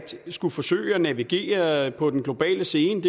skulle forsøge at navigere på den globale scene